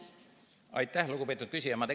Aitäh, lugupeetud küsija!